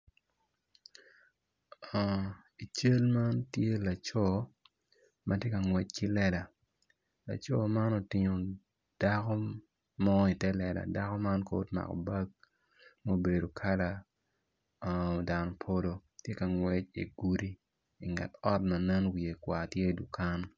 I cal man tye laco matye ka ngwec ki lela laco man otingo dako mo ite lela dako man kono omako bag mubedo kala dan polo tye ka ngwec i dye gudi inget ot ma nen wiye kwar tye dukan